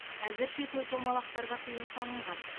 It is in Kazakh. әзірше той томалақтарға тыйым салынған